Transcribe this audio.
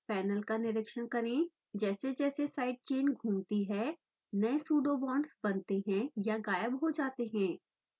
panel का निरिक्षण करेंजैसेजैसे साइड चेन घूमती है नए pseudobonds बनते हैं या गायब हो जाते हैं